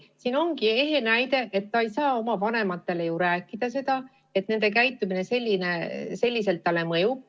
See ongi ehe näide sellest, et ta ei saa oma vanematele rääkida, et nende käitumine talle sedasi mõjub.